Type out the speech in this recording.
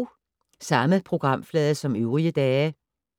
Samme programflade som øvrige dage